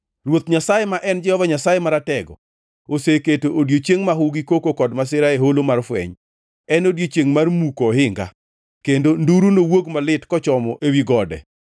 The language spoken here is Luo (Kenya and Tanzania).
Ruoth Nyasaye ma en Jehova Nyasaye Maratego oseketo odiechieng mahu gi koko kod masira e Holo mar Fweny, en odiechiengʼ mar muko ohinga kendo nduru nowuog malit kochomo ewi gode.